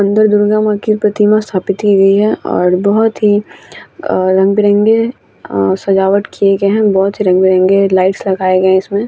अंदर दुर्गा-माँ की प्रतिमा अस्थापित की गई है और बहोत ही अ रंग-बिरंगे अं सजावट किये गए हैं बहोत ही रंग-बिरंगे लाइट्स लगाए गए हैं इसमें।